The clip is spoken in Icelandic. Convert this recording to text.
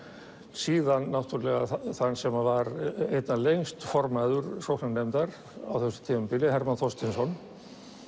síðan náttúrulega þann sem var einna lengst formaður sóknarnefndar á þessu tímabili Hermann Þorsteinsson